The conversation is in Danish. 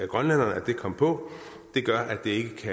grønlænderne at det kom på det gør at det ikke